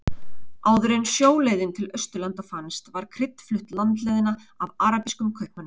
Áður en sjóleiðin til Austurlanda fannst var krydd flutt landleiðina af arabískum kaupmönnum.